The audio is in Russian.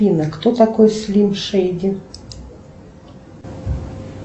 афина кто такой слим шейди